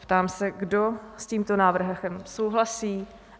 Ptám se, kdo s tímto návrhem souhlasí?